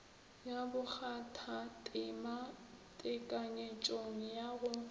ya bokgathatema tekanyetšong ya go